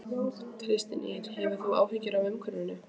Kristín Ýr: Hefur þú áhyggjur af umhverfinu?